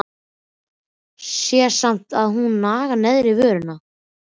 Sé samt að hún nagar neðri vörina.